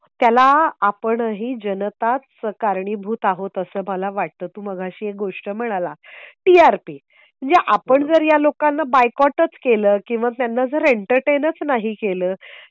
त्याला आपणही जनताच कारणीभूत आहोत असं मला वाटतं तर तू मघाशी एक गोष्ट म्हणाला टीआरपी म्हणजे आपण जर या लोकांना बायकॉटच केलं किंवा त्यांना जर एंटरटेनच नाही केलं.